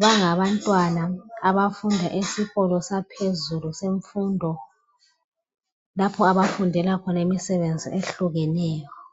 bangabantwana abafunda esikolo saphezulu semfundo lapho abafundela khona imisebenzi ehlukeneyo